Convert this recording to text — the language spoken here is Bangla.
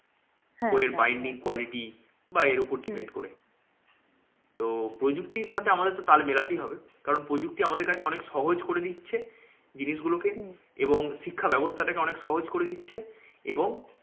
বইয়ের binding quality বা এর উপর depend করে। তো প্রযুক্তির সাথে আমাদের তো তাল মেলাতেই হবে। কারণ প্রযুক্তি আমাদের কাছে অনেক সহজ করে দিচ্ছে জিনিসগুলো কে। এবং শিক্ষা বাবস্থাটাকে অনেক সহজ করে দিচ্ছে এবং